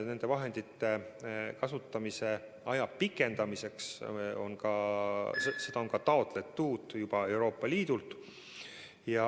Nende vahendite kasutamise aja pikendamiseks on Euroopa Liidult juba luba taotletud.